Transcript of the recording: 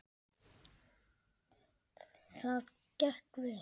Það gekk vel.